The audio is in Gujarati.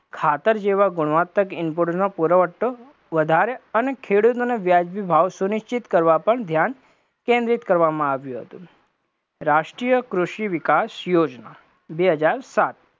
ખાતર જેવા ગુણવાતક નો પુરવઠો વધારે અને ખેડૂતોને વ્યાજબી ભાવ સુનિષ્ટિત કરવા પર ધ્યાન કેન્દ્રિત કરવા માં આવ્યું હતું, રાષ્ટ્રીય કૃષિ વિકાસ યોજના, બે હજાર સાત